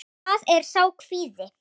Það er sá kvíði.